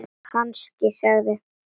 Kannski sagði